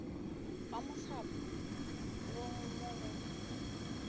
ga mohlapo logo mo go